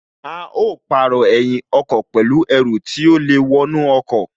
A ó jìrọ̀ ẹ̀yìn ọkọ̀ pẹ̀lú Ẹru tí ó lè wọnú ọkọ̀